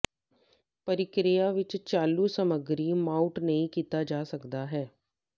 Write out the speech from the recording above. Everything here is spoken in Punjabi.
ਪ੍ਰਕਿਰਿਆ ਵਿਚ ਚਾਲੂ ਸਮੱਗਰੀ ਮਾਊਟ ਨਹੀ ਕੀਤਾ ਜਾ ਸਕਦਾ ਹੈ